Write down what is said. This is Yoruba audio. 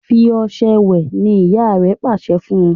fí ọṣẹ wẹ! ní ìyá rẹ pàṣẹ fún!